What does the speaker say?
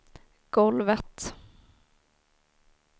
golvet